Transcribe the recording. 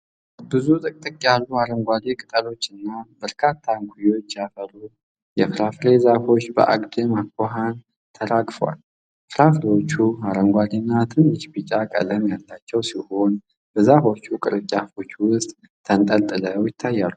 ብዙ ጥቅጥቅ ያሉ አረንጓዴ ቅጠሎችና በርካታ እንኰዮች ያፈሩ የፍራፍሬ ዛፎች በአግድም አኳኋን ተራግፈዋል። ፍሬዎቹ አረንጓዴና ትንሽ ቢጫ ቀለም ያላቸው ሲሆኑ፤ በዛፉ ቅርንጫፎች ውስጥ ተንጠልጥለው ይታያሉ። ።